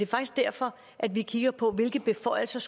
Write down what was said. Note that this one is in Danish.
faktisk derfor at vi kigger på hvilke beføjelser